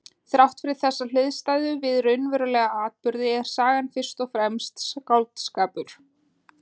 Þrátt fyrir þessa hliðstæðu við raunverulega atburði er sagan fyrst og fremst skáldskapur.